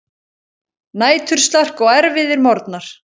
Næturslark og erfiðir morgnar.